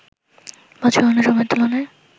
বছরের অন্য সময়ের তুলনায়